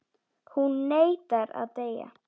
Hún neitar að deyja.